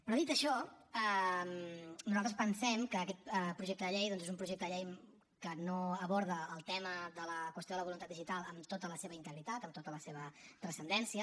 però dit això nosaltres pensem que aquest projecte de llei doncs és un projecte de llei que no aborda el tema de la qüestió de la voluntat digital amb tota la seva integritat amb tota la seva transcendència